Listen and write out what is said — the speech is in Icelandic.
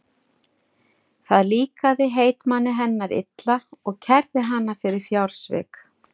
Það líkaði heitmanni hennar illa og kærði hana fyrir fjársvik.